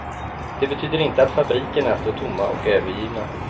Det betyder inte att fabrikerna står tomma och övergivna.